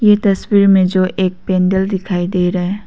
ये तस्वीर में जो एक पेंडल दिखाई दे रहा है।